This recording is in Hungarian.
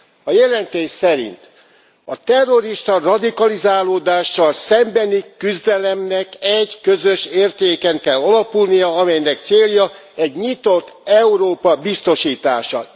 A jelentés szerint a terrorista radikalizálódással szembeni küzdelemnek egy közös értéken kell alapulnia, amelynek célja egy nyitott Európa biztosítása.